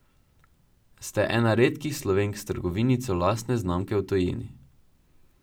Ste ena redkih Slovenk s trgovinico lastne znamke v tujini ...